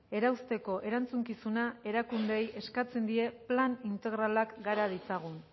erausteko erantzukizuna erakundeei eskatzen die plan integralak gara ditzagun